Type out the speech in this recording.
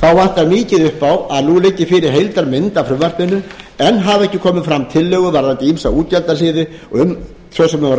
vantar mikið upp á að nú liggi fyrir heildarmynd af frumvarpinu enn hafa ekki komið fram tillögur varðandi ýmsa útgjaldaliði svo sem um vaxtagjöld